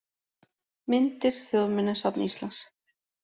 Myndir: Þjóðminjasafn Íslands.